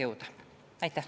Aitäh!